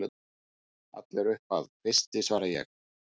Allt upp að kvisti, svara ég.